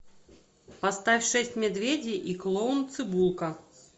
поставь шесть медведей и клоун цибулка